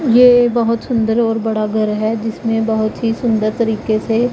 ये बहोत सुंदर और बड़ा घर है जिसमें बहोत ही सुंदर तरीके से --